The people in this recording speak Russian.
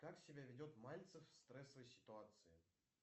как себя ведет мальцев в стрессовой ситуации